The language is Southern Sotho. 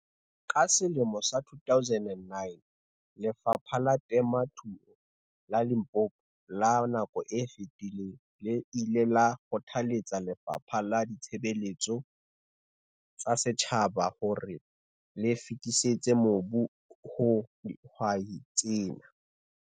Ka 2009, Lefapha la Temothuo la Limpopo la nako e fetileng le ile la kgothaletsa Lefapha la Ditshebeletso tsa Setjhaba hore le fetisetse mobu ho dihwai tsena.